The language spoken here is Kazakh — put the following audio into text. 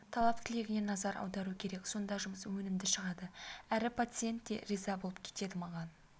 талап-тілегіне назар аудару керек сонда жұмыс өнімді шығады әрі пациент те риза болып кетеді маған